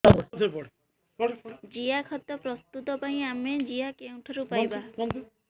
ଜିଆଖତ ପ୍ରସ୍ତୁତ ପାଇଁ ଆମେ ଜିଆ କେଉଁଠାରୁ ପାଈବା